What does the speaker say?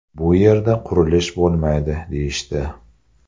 Bu yerda qurilish bo‘lmaydi deyishdi.